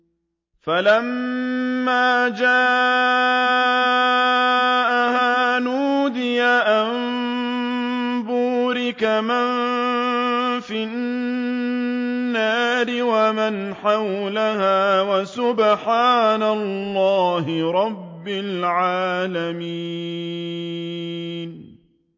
فَلَمَّا جَاءَهَا نُودِيَ أَن بُورِكَ مَن فِي النَّارِ وَمَنْ حَوْلَهَا وَسُبْحَانَ اللَّهِ رَبِّ الْعَالَمِينَ